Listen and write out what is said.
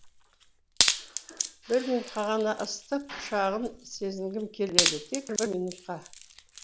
бір минутқа ғана ыстық құшағын сезінгім келеді тек бір минутқа